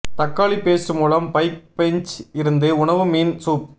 தக்காளி பேஸ்ட் மூலம் bike bench இருந்து உணவு மீன் சூப்